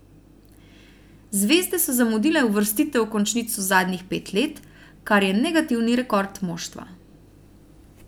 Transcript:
Zvezde so zamudile uvrstitev v končnico zadnjih pet let, kar je negativni rekord moštva.